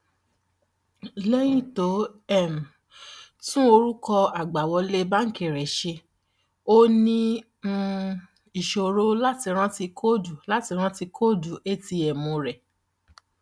lẹyìn tó um tún orúkọ àgbàwọlé banki rẹ ṣe ó ní um ìṣòro láti rántí kóòdù láti rántí kóòdù atm rẹ